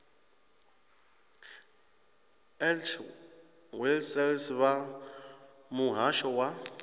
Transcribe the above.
h wessels vha muhasho wa